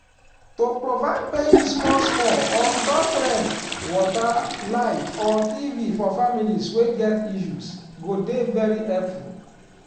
to provide paying small small on top rent water light or tv for families wey get issues go dey very helpful